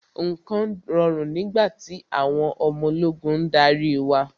Nǹkan rọrùn nígbà tí àwọn ọmọ ológun ń darí wa.